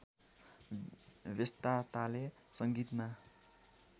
व्यस्तताले संगीतमा